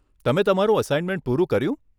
તમે તમારું અસાઇનમેન્ટ પૂરું કર્યું?